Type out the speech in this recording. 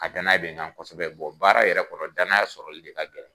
A danaya bɛn kan kosɛbɛ bɔ baara yɛrɛ kɔnɔ danaya sɔrɔli de ka gɛlɛn.